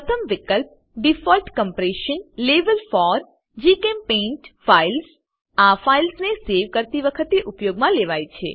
પ્રથમ વિકલ્પ default compression level for જીચેમ્પેઇન્ટ ફાઇલ્સ આ ફાઈલસ ને સેવ કરતી વખતે ઉપયોગ માં લેવાય છે